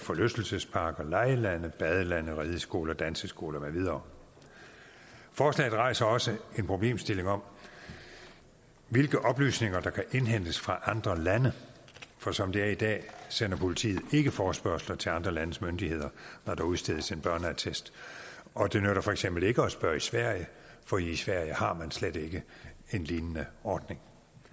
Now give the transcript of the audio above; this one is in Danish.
forlystelsesparker legelande badelande rideskoler danseskoler med videre forslaget rejser også en problemstilling om hvilke oplysninger der kan indhentes fra andre lande for som det er i dag sender politiet ikke forespørgsler til andre landes myndigheder når der udstedes en børneattest og det nytter for eksempel ikke at spørge i sverige for i sverige har man slet ikke en lignende ordning